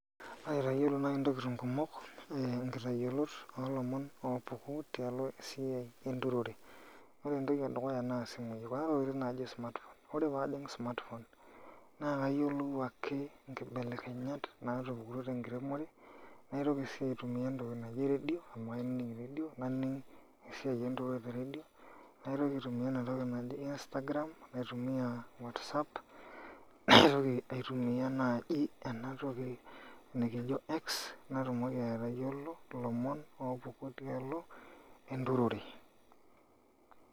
AItayiolo naai ntokitin kumok inkitayiolot oolomon oopuku tialo esiai enturore, ore entoki edukuya naa isimuui kuna tokiting naajo smartphone, ore pee ajing' smartphone naa kayiolou ake nkibelekenyat naatupukutuo tenkiremore naitoki sii aitumia entoki naji eredio amu ainining' redio esiai enturore te redio naitoki aitumia ena toki naji instagram naitumiaa whatsapp naitoki aitumia naaji ena toki nikijo X natumoki atayiolo ilomon oopuku tialo enturore.